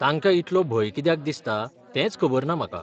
तांका इतलो भंय कित्याक दिसता तेंच खबर ना म्हाका.